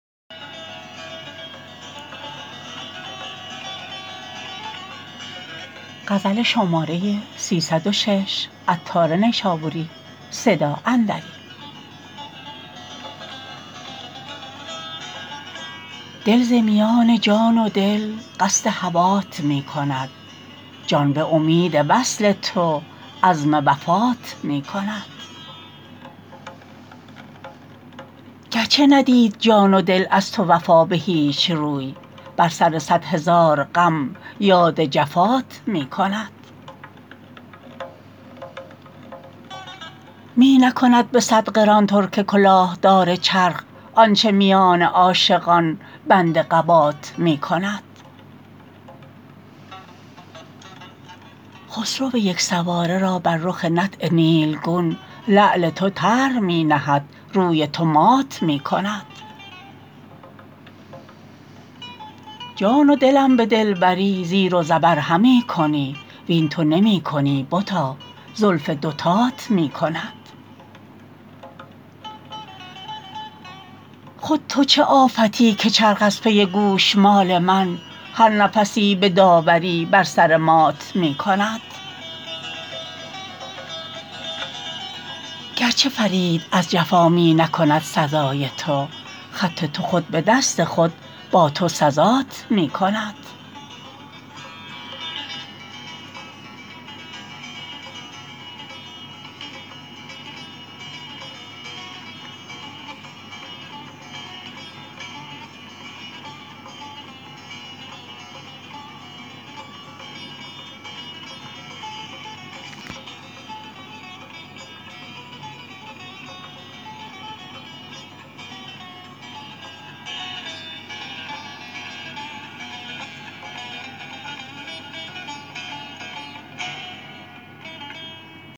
دل ز میان جان و دل قصد هوات می کند جان به امید وصل تو عزم وفات می کند گرچه ندید جان و دل از تو وفا به هیچ روی بر سر صد هزار غم یاد جفات می کند می نکند به صد قران ترک کلاه دار چرخ آنچه میان عاشقان بند قبات می کند خسرو یک سواره را بر رخ نطع نیلگون لعل تو طرح می نهد روی تو مات می کند جان و دلم به دلبری زیر و زبر همی کنی وین تو نمی کنی بتا زلف دوتات می کند خود تو چه آفتی که چرخ از پی گوشمال من هر نفسی به داوری بر سر مات می کند گرچه فرید از جفا می نکند سزای تو خط تو خود به دست خود با تو سزات می کند